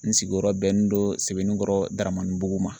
N sigiyɔrɔ bɛnnen don sebeninkɔrɔ damani buguma ma.